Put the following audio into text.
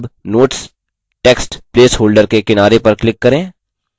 अब notes text place holder के किनारे पर click करें